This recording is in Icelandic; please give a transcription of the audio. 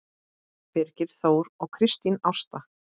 Birgir Þór og Kristín Ásta.